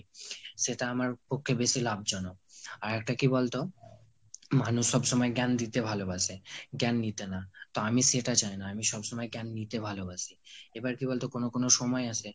সেটা আমার পক্ষে বেশি লাভজনক। আর একটা কী বলতো মানুষ সবসময় জ্ঞান দিতে ভালোবাসে, জ্ঞান নিতে না। তো আমি সেটা চাই না। আমি সবসময় জ্ঞান নিতে ভালোবাসি। এবার কী বলতো কোনো কোনো সময় আসে,